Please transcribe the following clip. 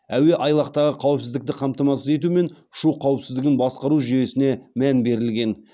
әуеайлақтағы қауіпсіздікті қамтамасыз ету мен ұшу қауіпсіздігін басқару жүйесіне мән берілген